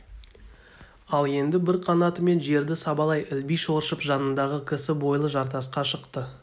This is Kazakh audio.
ол енді бір қанатымен жерді сабалай ілби шоршып жанындағы кісі бойлы жартасқа шықты